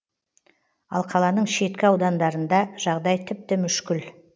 ал қаланың шеткі аудандарында жағдай тіпті мүшкіл